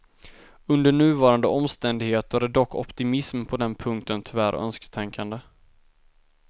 Under nuvarande omständigheter är dock optimism på den punkten tyvärr önsketänkande.